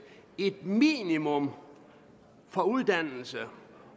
et minimum for uddannelse